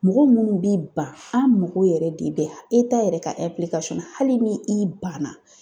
Mɔgɔ munnu b'i ban an mago yɛrɛ de bɛ yɛrɛ ka hali ni i ban na.